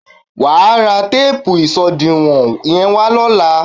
Wà á ra téèpù ìṣòdiwọ̀n yẹ́n wá lóla.